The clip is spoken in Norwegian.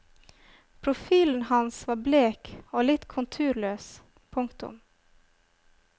Profilen hans var blek og litt konturløs. punktum